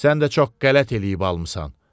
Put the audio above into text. Sən də çox qələt eləyib almısan.